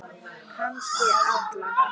Kannski alla.